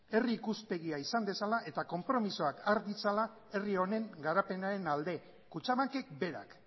herri ikuspegia izan dezala eta konpromisoak har ditzala herri honen garapenaren alde kutxabankek berak